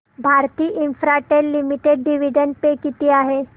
Bharti Infratel limited dividend pay किती आहे